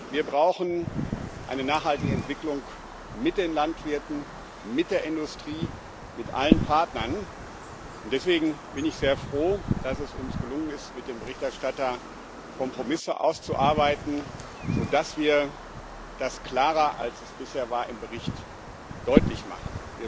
Wir brauchen aber eine nachhaltige Entwicklung mit den Landwirten, mit der Industrie, mit allen Partnern, und deswegen bin ich sehr froh, dass es uns gelungen ist, mit dem Berichterstatter Kompromisse auszuarbeiten, sodass wir das klarer, als es bisher war, im Bericht deutlich machen.